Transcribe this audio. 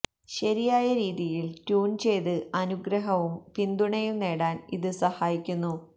ശരിയായ രീതിയിൽ ട്യൂൺ ചെയ്ത് അനുഗ്രഹവും പിന്തുണയും നേടാൻ ഇത് സഹായിക്കുന്നു